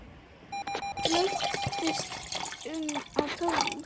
Læddist um á tánum.